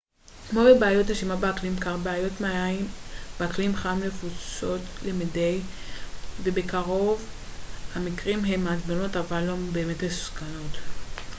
כמו בבעיות נשימה באקלים קר בעיות מעיים באקלים חם נפוצות למדי וברוב המקרים הן מעצבנות אבל לא באמת מסוכנות